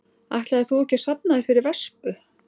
Ætlaðir þú ekki að safna þér fyrir vespu?